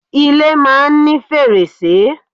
Ilé máa ń ní fèrèsé.